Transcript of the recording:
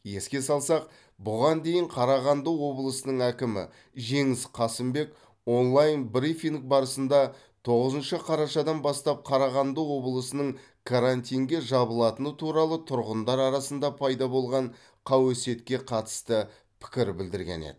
еске салсақ бұған дейін қарағанды облысының әкімі жеңіс қасымбек онлайн брифинг барысында тоғызыншы қарашадан бастап қарағанды облысының карантинге жабылатыны туралы тұрғындар арасында пайда болған қауесетке қатысты пікір білдірген еді